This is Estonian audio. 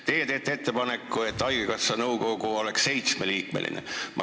Teie teete ettepaneku, et haigekassa nõukogu oleks seitsmeliikmeline.